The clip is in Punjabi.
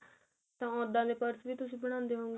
ਤਾਂ ਉਹਦਾ ਪੁਰਸੇ ਵੀ ਤੁਸੀਂ ਬਣਾਂਦੇ ਹੋਵੋਗੇ